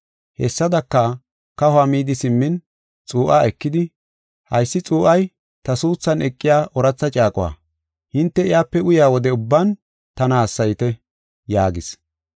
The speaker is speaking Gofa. Hessadaka, kahuwa midi simmin, xuu7aa ekidi, “Haysi xuu7ay ta suuthan eqiya ooratha caaquwa. Hinte iyape uyaa wode ubban tana hassayite” yaagis.